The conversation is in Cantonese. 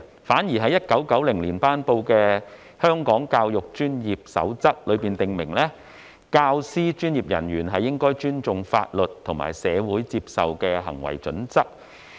反而在1990年公布的《守則》卻訂明，專業教育工作者應尊重法律及社會接受的行為準則。